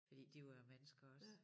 Fordi de var jo mennesker også